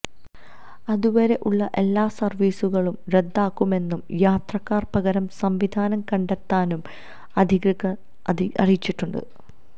അതുവരെ ഉള്ള എല്ലാ സർവ്വീസുകളും റദ്ദാക്കുമെന്നും യാത്രക്കാർ പകരം സംവിധാനം കണ്ടെത്താനും അധികൃതർ അറിയിച്ചിട്ടുണ്ട്